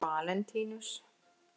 Valentínus